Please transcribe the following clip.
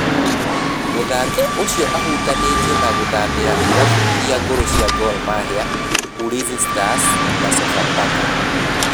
Mũthaki ũcio ahutanĩtio na gũthaamira irabu irĩa ngũru cia Gor mahia, Ulinzi stars na sofa paka